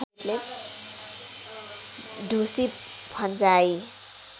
ढुसी फन्जाइ